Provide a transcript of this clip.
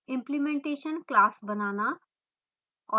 implementation class बनाना और